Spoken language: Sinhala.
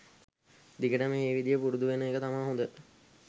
දිගටම ඒ විදිය පුරුදු වෙන එක තමා හොද.